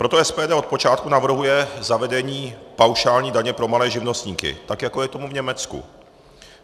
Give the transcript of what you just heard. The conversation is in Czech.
Proto SPD od počátku navrhuje zavedení paušální daně pro malé živnostníky, tak jako je tomu v Německu.